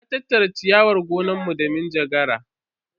Na tattara ciyawar gonanmu da manjagara.